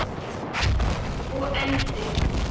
Upphaf og endi.